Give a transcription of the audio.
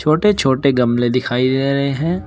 छोटे छोटे गमले दिखाई दे रहे हैं।